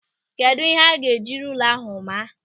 Kedụ ihe ọ ga-eji rula ahụ maa?